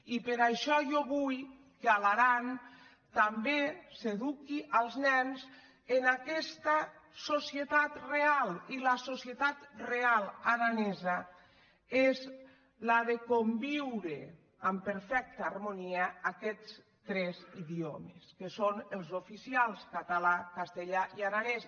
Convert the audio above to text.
i per això jo vull que a l’aran també s’eduqui els nens en aquesta societat re·al i la societat real aranesa és la de conviure en per·fecta harmonia aquests tres idiomes que són els ofici·als català castellà i aranès